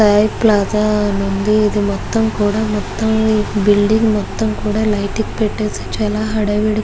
లాగా ఉంది. ఇది మొత్తం కూడా మొత్తం బిల్డింగ్ మొత్తం కూడా లైటింగ్ పెట్టేసి చాల హడావిడి --